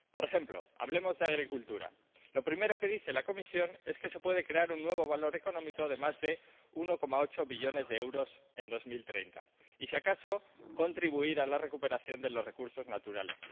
Por ejemplo —hablemos de agricultura—, lo primero que dice la Comisión es que se puede crear un nuevo valor económico de más de 1,8 billones de euros en 2030 y, si acaso, contribuir a la recuperación de los recursos naturales